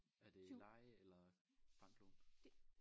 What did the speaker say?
Er det leje eller banklån?